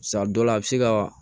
Sa dɔw la a bɛ se ka